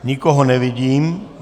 Nikoho nevidím.